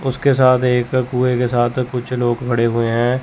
उसके साथ एक कुंए के साथ कुछ लोग खड़े हुए हैं।